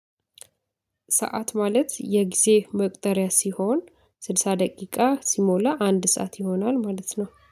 ሰዓት ማለት የጊዜ መቅጠሪያ ሲሆን ስልሳ ደቂቃ ሲሞላ አንድ ሰዓት ይሆናል ማለት ነው።